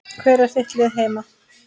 Hvert er þitt lið heima?